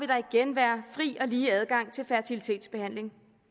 der igen være fri og lige adgang til fertilitetsbehandling